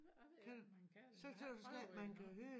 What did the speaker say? Det jeg ved ikke om jeg kan jeg har ikke prøvet det endnu